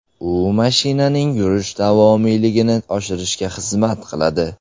U mashinaning yurish davomiyligini oshirishga xizmat qiladi.